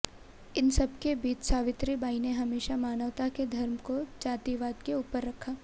इन सब के बीच सावित्रीबाई ने हमेशा मानवता के धर्म को जातिवाद के ऊपर रखा